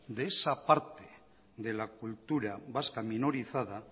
de esa parte de la cultura vasca minorizada